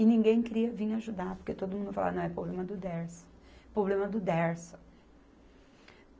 E ninguém queria vir ajudar, porque todo mundo falava, não, é problema do Dersa, problema do Dersa.